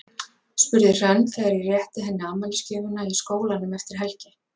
spurði Hrönn þegar ég rétti henni afmælisgjöfina í skólanum eftir helgi.